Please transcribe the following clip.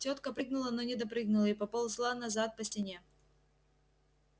тётка прыгнула но не допрыгнула и поползла назад по стене